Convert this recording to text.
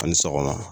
Ani sɔgɔma